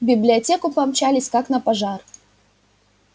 в библиотеку помчались как на пожар